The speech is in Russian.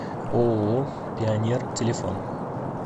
ооо пионер телефон